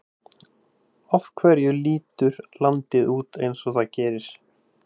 Af hverju lítur landið út eins og það gerir?